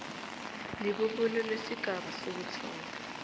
libubulo lesigaba sokuthoma